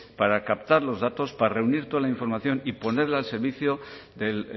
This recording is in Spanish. para captar los datos para reunir toda la información y ponerla al servicio del